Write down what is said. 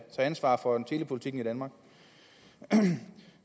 ansvar for telepolitikken i danmark